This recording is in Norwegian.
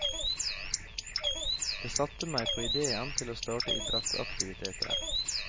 Det satte meg på idéen til å starte idrettsaktiviteter.